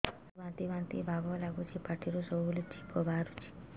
ମୋତେ ବାନ୍ତି ବାନ୍ତି ଭାବ ଲାଗୁଚି ପାଟିରୁ ସବୁ ବେଳେ ଛିପ ବାହାରୁଛି